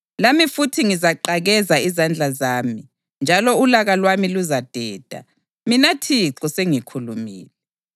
Lami futhi ngizaqakeza izandla zami, njalo ulaka lwami luzadeda. Mina Thixo sengikhulumile.”